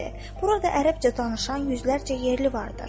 Burada ərəbcə danışan yüzlərcə yerli vardır.